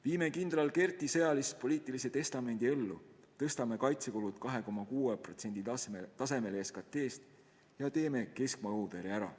Viime kindral Kerdi sõjalis-poliitilise testamendi ellu, tõstame kaitsekulud 2,6% tasemele SKT-st ja teeme keskmaa-õhutõrje ära.